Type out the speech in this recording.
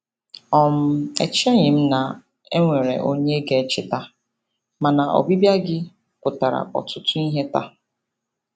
um Echeghị m na e nwere onye ga-echeta, mana ọbịbịa gị pụtara ọtụtụ ihe taa.